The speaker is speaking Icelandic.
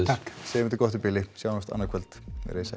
segjum þetta gott í bili sjáumst annað kvöld veriði sæl